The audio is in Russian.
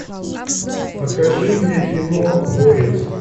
покажи мне кино горец